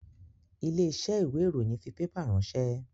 Ilé iṣẹ́ ìwé ìròyìn fi pépà ránsẹ́